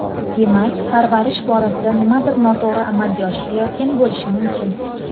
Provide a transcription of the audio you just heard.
Demak, parvarish borasida nimadir noto‘g‘ri amalga oshirilayotgan bo‘lishi mumkin.